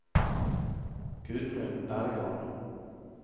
Gudmund Bergan